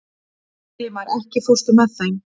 Elímar, ekki fórstu með þeim?